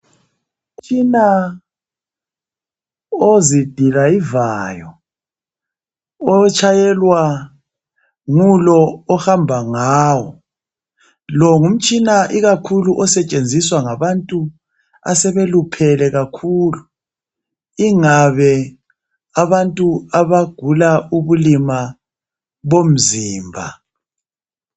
Umtshina ozidrayivayo otshayelwa ngulo ohamba ngawo, lo ngumtshina osetshenziswa ikakhulu ngabantu asebeluphele kakhulu ingabe abantu abagula ubulima bomzimba.